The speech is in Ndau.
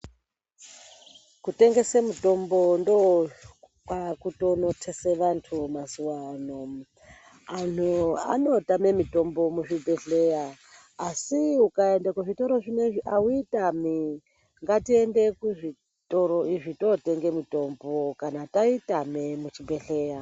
Kutengese mitombo ndookwaakutonothese vantu mazuwaano. Anhu anotame mitombo muzvibhedhleya, asi ukaende kuzvitoro zvinezvi auitami. Ngatiende kuzvitoro izvi totenge mitombo, kana taitame muchibhedhleya.